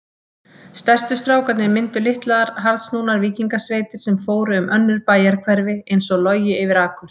Stærstu strákarnir mynduðu litlar harðsnúnar víkingasveitir sem fóru um önnur bæjarhverfi einsog logi yfir akur.